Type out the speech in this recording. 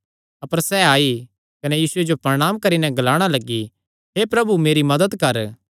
अपर सैह़ आई कने यीशुये जो प्रणांम करी नैं ग्लाणा लग्गी हे प्रभु मेरी मदत कर